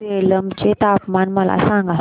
सेलम चे तापमान मला सांगा